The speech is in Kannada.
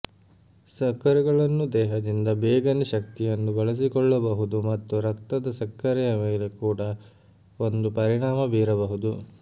ಸಕ್ಕರೆಗಳನ್ನು ದೇಹದಿಂದ ಬೇಗನೆ ಶಕ್ತಿಯನ್ನು ಬಳಸಿಕೊಳ್ಳಬಹುದು ಮತ್ತು ರಕ್ತದ ಸಕ್ಕರೆಯ ಮೇಲೆ ಕೂಡಾ ಒಂದು ಪರಿಣಾಮ ಬೀರಬಹುದು